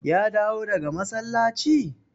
Ya dawo daga masallaci?